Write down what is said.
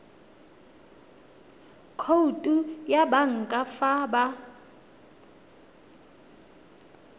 khoutu ya banka fa ba